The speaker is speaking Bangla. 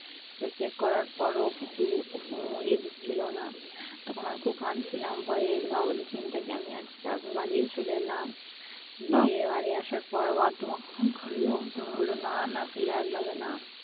তো check করার পরেও কিছু ইয়ে দিচ্ছিলনা তখন আমি খুব কানছিলাম ভয়ে যে বাবুর চিন্তায় কেমনে আছি তারপরে বাড়ি ও চলে এলাম গিয়ে বাড়ি আসার পরে মা তোমাকে phone করলো তুমি বললে যে না না